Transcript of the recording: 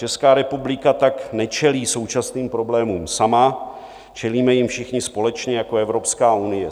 Česká republika tak nečelí současným problémům sama, čelíme jim všichni společně jako Evropská unie.